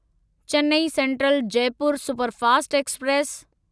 Chennai central Jaipur superfast express